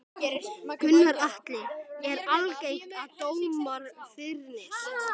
Gunnar Atli: Er algengt að dómar fyrnist?